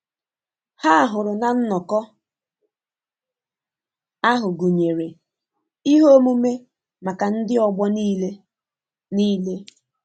Ha hụrụ na nnọkọ ahụ gụnyere ihe omume maka ndị ọgbọ niile. niile.